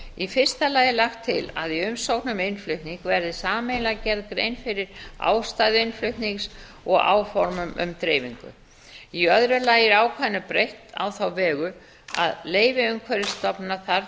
í fyrsta lagi er lagt til að í umsókn um innflutning verði sameiginlega gerð grein fyrir ástæðu innflutnings og áformum um dreifingu í öðru lagi er ákvæðinu breytt á þá vegu að leyfi umhverfisstofnunar þarf